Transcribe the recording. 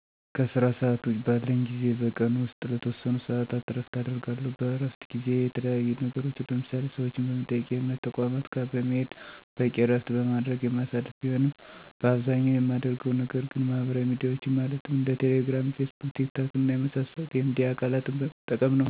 ከስራ ሰዓት ውጭ ባለኝ ጊዜ በቀን ውስጥ ለተወሰኑ ሰዓታት እረፍት አደርጋለሁ። በእረፍት ጊዜየ የተለያዩ ነገሮችን ለምሳሌ፦ ሰዎችን በመጠየቅ፣ የእምነት ተቋማት ጋር በመሄድ፣ በቂ እረፍት በማድረግ የማሳልፍ ቢሆንም በአብዛኛው የማደርገው ነገር ግን ማህበራዊ ሚዲያዎችን ማለትም እንደ ቴሌ ግራም፣ ፌስቡክ፣ ቲክ ታክ እና የመሳሰሉት የሚዲያ አካለትን በመጠቀም ነው። በዚህም አብዛኛውን የእረፍቴን ጊዜ በአማካኝ ከ 3 ሰዓት በላይ እቆያለሁ።